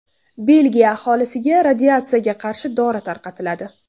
Belgiya aholisiga radiatsiyaga qarshi dori tarqatiladi.